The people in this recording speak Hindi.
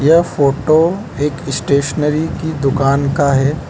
यह फोटो एक स्टेशनरी की दुकान का है।